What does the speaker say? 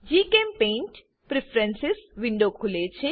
જીચેમ્પેઇન્ટ preference window ખુલે છે